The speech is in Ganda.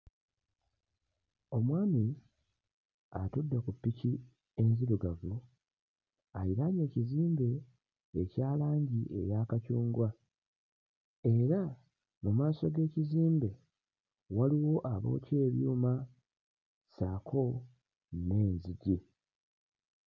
Omwami atudde ku ppiki enzirugavu, aliraanye ekizimbe ekya langi eya kacungwa era mu maaso g'ekizimbe waliwo abookya ebyuma ssaako n'enzigi.